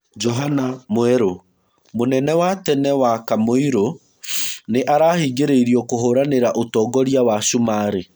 Johana Mwerũ.: Mũnene wa tene wa Kamũirũnĩarahingĩrĩirio kũhũranĩra ũtongoria wa Cumarĩ.